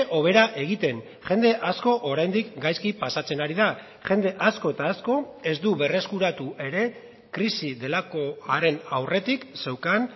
hobera egiten jende asko oraindik gaizki pasatzen ari da jende asko eta asko ez du berreskuratu ere krisi delakoaren aurretik zeukan